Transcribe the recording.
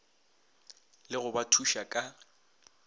le go ba thuša ka